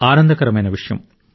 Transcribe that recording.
ఆనందకరమైన విషయం